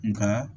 Nka